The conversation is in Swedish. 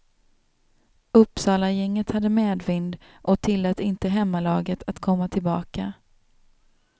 Uppsalagänget hade medvind och tillät inte hemmalaget att komma tillbaka.